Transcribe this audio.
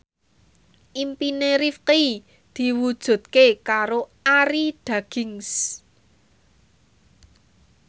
impine Rifqi diwujudke karo Arie Daginks